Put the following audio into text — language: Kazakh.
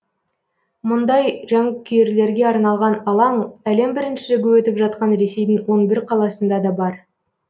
мұндай жанкүйерлерге арналған алаң әлем біріншілігі өтіп жатқан ресейдің он бір қаласында да бар